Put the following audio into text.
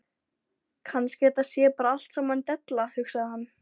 Kannski þetta sé bara allt saman della, hugsaði hann.